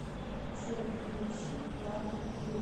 джой включи плато кина